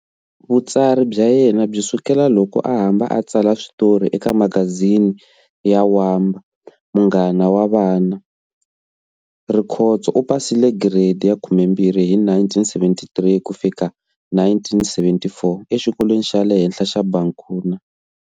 Vutsari bya yena byi sukela loko a hamba a tsala switori eka magazine ya Wamba, munghana wa vana. Rikhotso u pasile giredi ya 12 hi 1973 ku fika1974 exikolweni xa le henhla xa Bankuna.